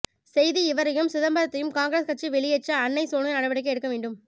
செய்தி இவரையும் சிதம்பரத்தையும் காங்கிரஸ் கட்சி வெளியேற்ற அன்னை சோனியா நடவடிக்கை எடுக்க வேண்டும்